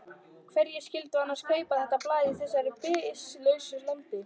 Hverjir skyldu annars kaupa þetta blað í þessu byssulausa landi?